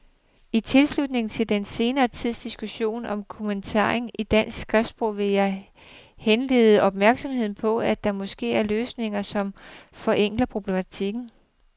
I tilslutning til den senere tids diskussion om kommatering i dansk skriftsprog vil jeg henlede opmærksomheden på, at der måske er løsninger, som forenkler problemstillingen.